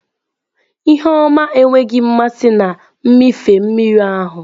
Ihu ọma enweghị mmasị na mmịfe mmiri ahụ.